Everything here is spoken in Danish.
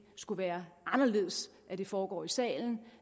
skulle være anderledes at det foregår i salen